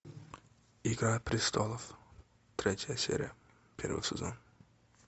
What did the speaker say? игра престолов третья серия первый сезон